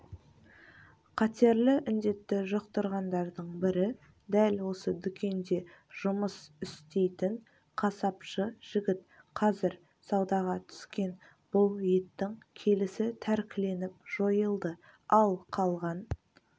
қатерлі індетті жұқтырғандардың бірі дәл осы дүкенде жұмыс істейтін қасапшы жігіт қазір саудаға түскен бұл еттің келісі тәркіленіп жойылды ал қалған